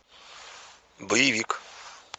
боевик